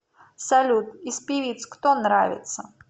салют из певиц кто нравится